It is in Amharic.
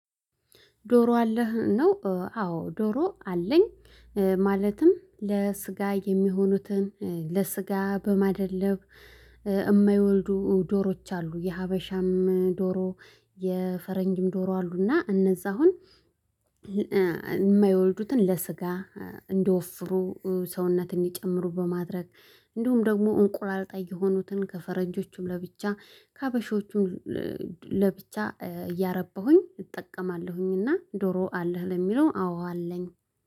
ዶሮ አለህ ነው አዎ ዶሮ አለኝ። ማለትም ለስጋ የሚሆኑትን ለስጋ በማደለብ የማይወልዱ ዶሮዎች አሉ የሀበሻም ዶሮ። የፈረንጅም ዶሮ አሉና እነዛ አሁን የማይወልዱትን ለስጋ እንደወፍሩ ሰውነትን እንዲጨምሩ በማድረግ። እንዲሁም ደግሞ እንቁላል ጣይ የሆኑትን ከፈረንጆቹም ለብቻ ከሀበሾቹም ለብቻ እያረበሁኝ እጠቀማለሁኝና ዶሮ አለህ ለሚለው አዎ አለኝ